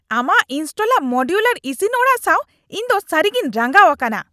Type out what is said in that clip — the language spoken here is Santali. ᱟᱢᱟᱜ ᱤᱱᱥᱴᱚᱞᱟᱜ ᱢᱚᱰᱤᱭᱩᱞᱟᱨ ᱤᱥᱤᱱ ᱚᱲᱟᱜ ᱥᱟᱶ ᱤᱧ ᱫᱚ ᱥᱟᱹᱨᱤᱜᱮᱧ ᱨᱟᱸᱜᱟᱣ ᱟᱠᱟᱱᱟ ᱾